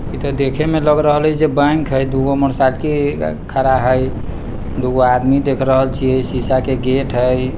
ईधर देखे मे लग रहालै जे बैंक हई दूगो मोटरसाइकिल खड़ा हई दो गो आदमी दिख रहल छी शीशा के गेट हई ।